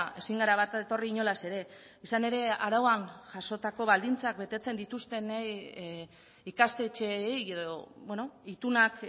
ezin gara bat etorri inolaz ere izan ere arauan jasotako baldintzak betetzen dituzten ikastetxeei edo itunak